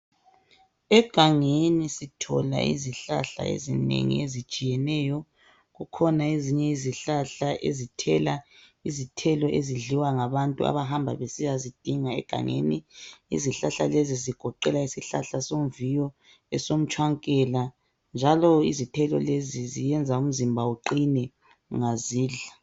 Egangeni sithola izihlahla ezinengi ezitshiyeneyo. Kukhona ezinye izihlahla ezithela izithelo ezidliwa ngabantu abahamba besiyazidinga egangeni. Izihlahla lezi zigoqela isihlahla somviyo, esomtshwankela, njalo izithelo lezi ziyenza umzimba uqine ungazidla.